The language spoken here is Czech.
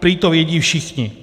Prý to vědí všichni.